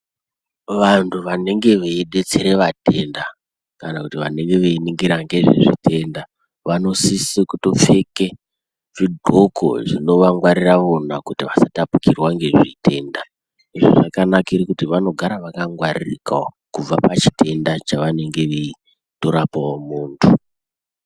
Vantu vanenge veidetsere vatenda kana kuti vanenge veiningira ngezvezvitenda vanosise kutopfeke zvindxoko zvinovangwarira wona kuti vasatapukirwa ngezvitenda. Izvo zvakanakire kuti vanogara vakangwaririkawo kubva pachitenda chavanenge veitorapawo muntu .